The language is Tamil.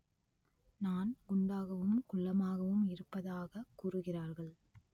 நான் குண்டாகவும் குள்ளமாகவும் இருப்பதாகக் கூறுகிறார்கள்